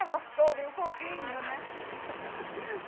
Me Abraçou, veio correndo, né?